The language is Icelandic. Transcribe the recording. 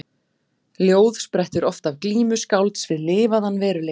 Ljóð sprettur oft af glímu skálds við lifaðan veruleika.